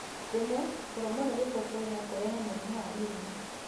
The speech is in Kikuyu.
Rĩmwe, kũrũmo nĩ gĩboboĩ no kũrehe mũrimũ wa mĩrimũ.